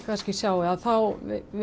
sjáið þá